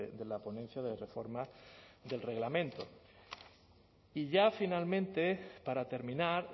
de la ponencia de reforma del reglamento y ya finalmente para terminar